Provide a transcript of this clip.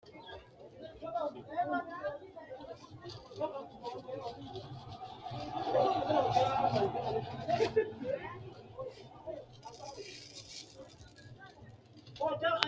Yini meeyaa beetto ikkitanna tini beettono aggase Gotti asiite nooha ikkanna qoleno laayiinkki anggani uddidhini uddano amadde nooha ikkanna qoleno waajjo uduunne udidhe no